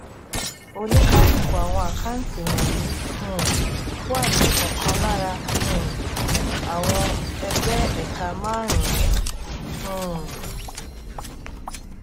oníkálukú àwọn àkáǹtí wònyí um wà ní òkan lára um àwọn ẹgbé-ẹka márùnún um